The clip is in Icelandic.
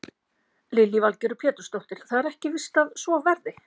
Lillý Valgerður Pétursdóttir: Það er ekki víst að svo verði?